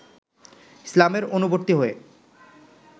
ইসলামের অনুবর্তী হয়ে